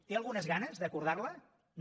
té algunes ganes d’acordar la no